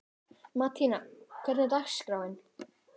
Mattíana, hvernig er dagskráin?